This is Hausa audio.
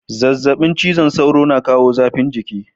Zazzabin cizon sauro yana kawo zafin jiki.